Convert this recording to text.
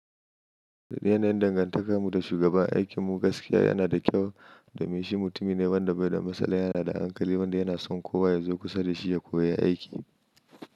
Da yanayin dangantakarmu da shugaba, aikinmu gaskiya yana da kyau, domin shi mutumi ne wanda bai da matsala, yana da hankali, wanda yana son kowa ya zo kusa da shi ya koyi aiki.